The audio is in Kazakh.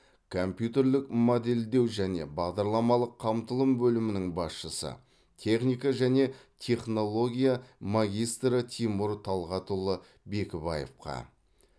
компьютерлік модельдеу және бағдарламалық қамтылым бөлімінің басшысы техника және технология магистрі тимур талғатұлы бекібаевқа